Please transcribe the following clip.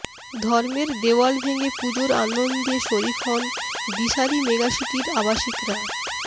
ধর্মের দেওয়াল ভেঙে পুজোর আনন্দে শরিক হন দিশারী মেগাসিটির আবাসিকরা